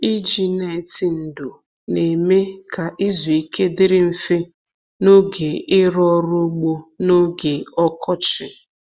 Iji neti ndò na-eme ka izu ike dịrị mfe n'oge ịrụ ọrụ ugbo n'oge ọkọchị.